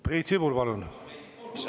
Priit Sibul, palun!